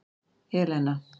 Elena